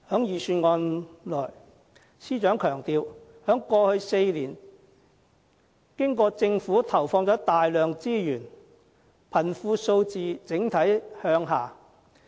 司長在預算案裏強調，在過去4年經過政府投放大量資源後，貧窮數字整體向下。